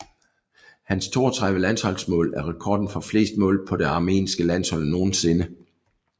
Hans 32 landsholdsmål er rekorden for flest mål på det armenske landshold nogensinde